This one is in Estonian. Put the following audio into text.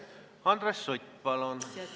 Andres Sutt, palun!